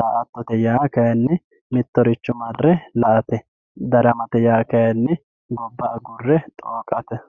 daa`atote yaa kayini mitoricho mare la`ate yaate daramate yaa kayini gobba agure xooqate